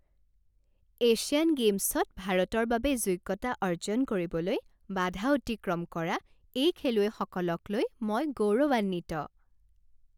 Asian গেইমছত ভাৰতৰ বাবে যোগ্যতা অৰ্জন কৰিবলৈ বাধা অতিক্ৰম কৰা এই খেলুৱৈসকলক লৈ মই গৌৰৱান্বিত।